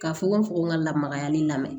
Ka fogo fogo n ka lamagayani lamɛn